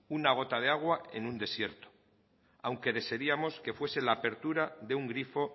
una gota de agua en un desierto aunque desearíamos que fuese la apertura de un grifo